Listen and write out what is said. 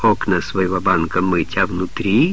окна своего банка мытья а внутри